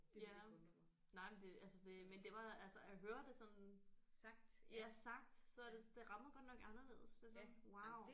Ja nej men det altså det men det var altså at høre det sådan ja sagt så det det rammer godt nok anderledes det er sådan wow